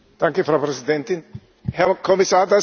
Frau Präsidentin, Herr Kommissar!